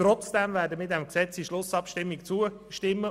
Trotzdem werden wir dem Gesetz aber in der Schlussabstimmung zustimmen.